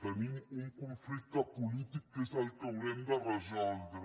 tenim un conflicte polític que és el que haurem de resoldre